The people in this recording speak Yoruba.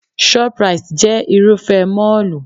Shop-rite jẹ́ Irúfẹ́ mọ́ọ̀lù